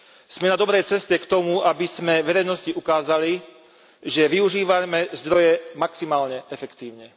Sme na dobrej ceste k tomu, aby sme verejnosti ukázali, že využívame zdroje maximálne efektívne.